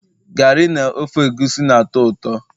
garri na ofe egusi na-atọ ụtọ